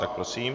Tak prosím.